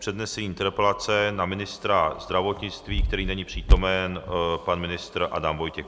Přednese interpelaci na ministra zdravotnictví, který není přítomen, pan ministr Adam Vojtěch.